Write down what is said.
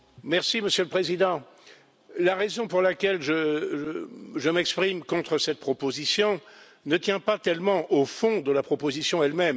Monsieur le Président, la raison pour laquelle je m'exprime contre cette proposition ne tient pas tellement au fond de la proposition elle même.